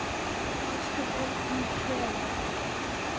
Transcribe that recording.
Ósköp er hún kvefuð.